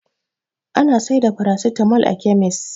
Ana saida farasitamo kai a kemis.